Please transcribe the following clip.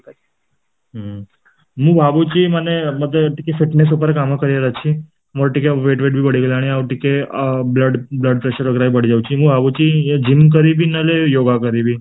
ହୁଁ ମୁଁ ଭାବୁଛି ମାନେ ମତେ ଟିକେ fitness ଉପରେ କାମ କରିବାର ଅଛି, ମୋର ଟିକେ weight ବି ବଢ଼ିଗଲାଣି ଆଉ ଟିକେ blood blood pressure ବି ବଢି ଯାଉଛି ମୁଁ ବି ଭାବୁଛି gym କରିବି ନହେଲେ yoga କରିବି